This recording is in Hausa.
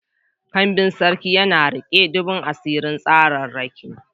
Kambin Sarki yana riƙe duhun asirin tsararraki.